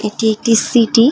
এটি একটি সিটি ।